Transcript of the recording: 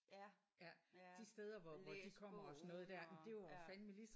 Ja og læst bogen og ja